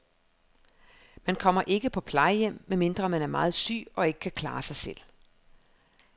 Man kommer ikke på plejehjem, medmindre man er meget syg og ikke kan klare sig selv.